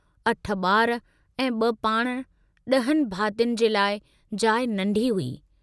अठ बार ऐं ब पाण डहनि भातियुनि जे लाइ जाइ नंढी हुई।